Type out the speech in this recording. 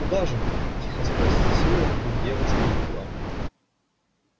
куда же мы тихо спросила вдруг девушка из угла